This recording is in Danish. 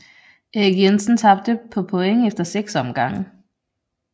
Erik Jensen tabte på point efter 6 omgange